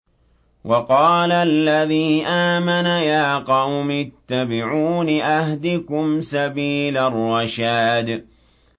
وَقَالَ الَّذِي آمَنَ يَا قَوْمِ اتَّبِعُونِ أَهْدِكُمْ سَبِيلَ الرَّشَادِ